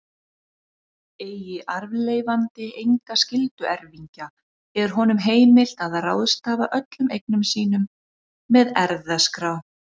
Eigi arfleifandi enga skylduerfingja er honum heimilt að ráðstafa öllum eignum sínum með erfðaskrá.